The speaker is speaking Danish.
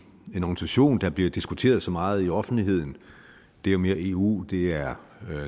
organisation der bliver diskuteret så meget i offentligheden det er jo mere eu det er